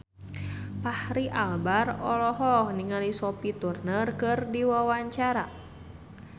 Fachri Albar olohok ningali Sophie Turner keur diwawancara